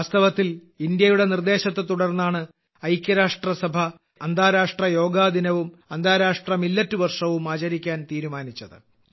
വാസ്തവത്തിൽ ഇന്ത്യയുടെ നിർദ്ദേശത്തെതുടർന്നാണ് ഐക്യരാഷ്ട്രസഭ അന്താരാഷ്ട്ര യോഗാദിനവും അന്താരാഷ്ട്ര മില്ലറ്റ് വർഷവും ആചരിക്കാൻ തീരുമാനിച്ചത്